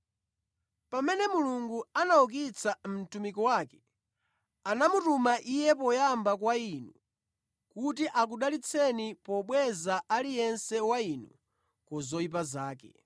Pamene Mulungu anaukitsa mtumiki wake, anamutuma Iye poyamba kwa inu kuti akudalitseni pobweza aliyense wa inu ku zoyipa zake.”